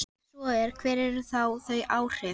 Ef svo er, hver eru þá þau áhrif?